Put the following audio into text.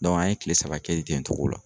an ye kile saba kɛyi ten togo la.